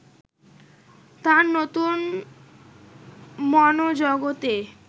তাঁর নতুন মনোজগতে